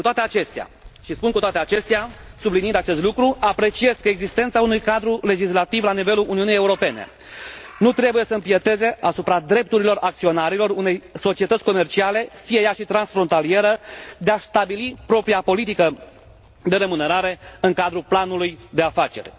Cu toate acestea și spun cu toate acestea subliniind acest lucru, apreciez că existenta unui cadru legislativ la nivelul Uniunii Europene nu trebuie să impieteze asupra drepturilor acționarilor unei societăți comerciale, fie ea și transfrontalieră, de a și stabili propria politică de remunerare în cadrul planului de afaceri.